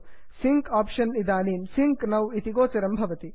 sync option इदानीं sync now sync now इति गोचरं भवति